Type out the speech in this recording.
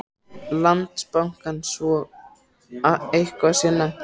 Landsbankans svo að eitthvað sé nefnt.